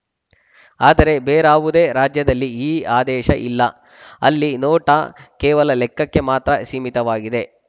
ಆದರೆ ಬೇರಾವುದೇ ರಾಜ್ಯದಲ್ಲಿ ಈ ಆದೇಶ ಇಲ್ಲ ಅಲ್ಲಿ ನೋಟಾ ಕೇವಲ ಲೆಕ್ಕಕ್ಕೆ ಮಾತ್ರ ಸೀಮಿತವಾಗಿದೆ